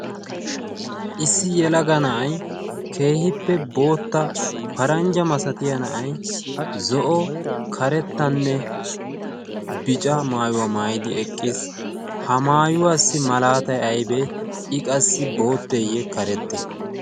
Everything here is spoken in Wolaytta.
Issi yelaga na'ay keehippe bootta paranjja masatiya na'ay zo'o karettanne bica maayyuwa maayyidi eqqiis, ha maayuwassi malaatay aybee? I qassi bootteyye karettee?